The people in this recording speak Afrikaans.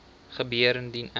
gebeur indien ek